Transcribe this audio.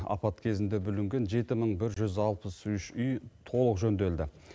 апат кезінде бүлінген жеті мың бір жүз алпыс үш үй толық жөнделді